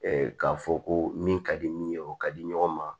k'a fɔ ko min ka di min ye o ka di ɲɔgɔn ma